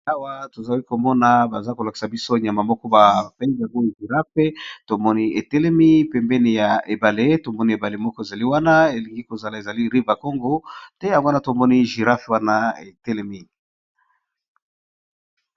aawa tozawi komona baza kolakisa biso nyama moko bapengamoi jiraf tomoni etelemi pembeni ya ebale tomoni ebale moko ezali wana elingi kozala ezali river congo te ya wana tomoni jirafe wana etelemi